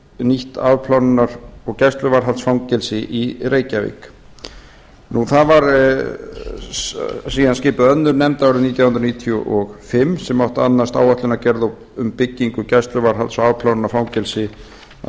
yrði nýtt afplánunar og gæsluvarðhaldsfangelsi í reykjavík síðan var skipuð önnur nefnd árið nítján hundruð níutíu og fimm sem átti að annast áætlunargerð um byggingu gæsluvarðhalds og afplánunarfangelsis að